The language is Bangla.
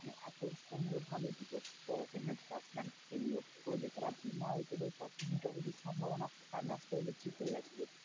এত সুন্দর ভাবে দুটো opener batsman খেললো ও যে তারা বিনা wicket এ পতন যতদূর সম্ভব মনে হয় match টা জিতে গেছিলো।